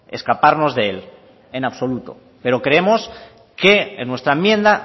escaparnos de él en absoluto pero creemos que en nuestra enmienda